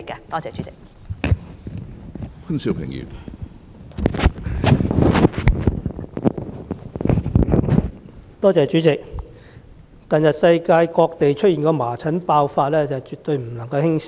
主席，近日世界各地均爆發麻疹，情況絕對不容輕視。